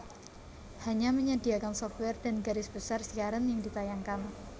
hanya menyediakan software dan garis besar siaran yang ditayangkan